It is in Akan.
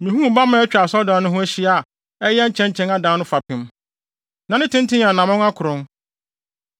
Mihuu bamma a atwa asɔredan no ho ahyia a ɛyɛ nkyɛnkyɛn adan no fapem. Na ne tenten yɛ anammɔn akron.